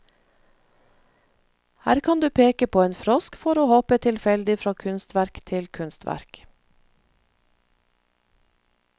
Her kan du peke på en frosk for å hoppe tilfeldig fra kunstverk til kunstverk.